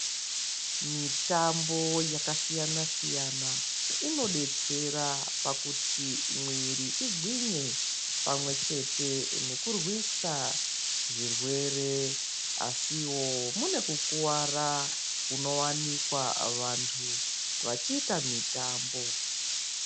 Mitambo yakasiyana siyana inodetsera pakuti mwiri igwinye pamwechete nekurwisa zvirwere, asiwo mune kukuwara kunowanikwa vantu vachiita mitambo.